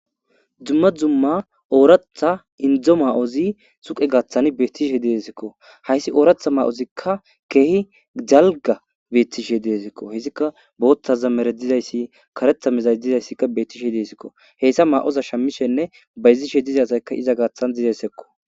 dzumma dzumma ooratha indzo ma7ozi suqe gaaththan beettishe deesikko hayssi ooratha ma7ozikka keehi jalga beettishe deesikko hizikka boottaza mere dizayssi karetha mezay dizayssikka bettishe deesikko heyssa ma7oza shammishenne bayzishe dizasaykka iza gaaththan dizesekko